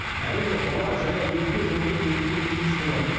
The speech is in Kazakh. әрине бала жаяу өтпе жолымен өтуге тиіс болатын